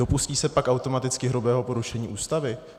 Dopustí se pak automaticky hrubého porušen Ústavy?